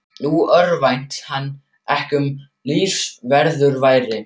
Nú örvænti hann ekki um lífsviðurværi.